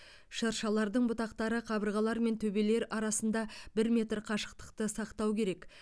шыршалардың бұтақтары қабырғалар мен төбелер арасында бір метр қашықтықты сақтау керек